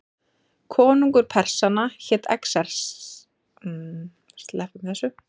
Konungur Persanna hét Xerxes, bæði í raunveruleikanum og í kvikmyndinni.